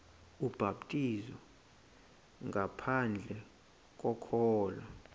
ubhaptizo ngaphandle kokholo